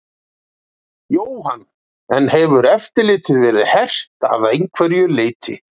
Jóhann: En hefur eftirlitið verið hert að einhverju leyti?